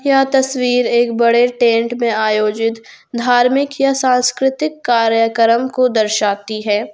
यह तस्वीर एक बड़े टेंट में आयोजित धार्मिक या सांस्कृतिक कार्यक्रम को दर्शाती है।